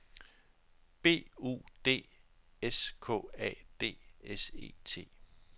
B U D S K A D S E T